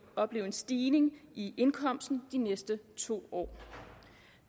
opleve en stigning i indkomsten de næste to år